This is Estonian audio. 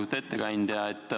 Lugupeetud ettekandja!